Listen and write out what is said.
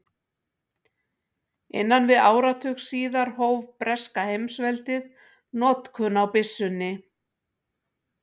Innan við áratug síðar hóf breska heimsveldið notkun á byssunni.